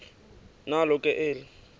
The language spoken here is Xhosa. nalo ke eli